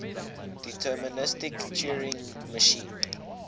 deterministic turing machine